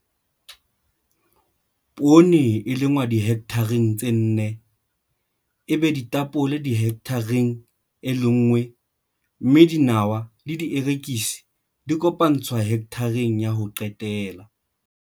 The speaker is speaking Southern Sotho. Poone e lengwa dihekthareng tse nne, ebe ditapole hekthareng e lenngwe mme dinawa le dierekisi di kopantswe hekthareng ya ho qetela.